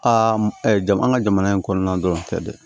Aa jamana an ka jamana in kɔnɔna dɔrɔn tɛ dɛ